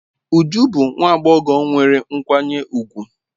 Uju bu nwa agbogho nwere nkwanye ugwu.